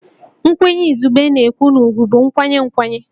Nkwenye izugbe na-ekwu na ugwù bụ nkwanye nkwanye